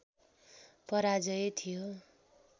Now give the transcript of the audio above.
पराजय थियो